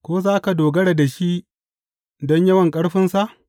Ko za ka dogara da shi don yawan ƙarfinsa?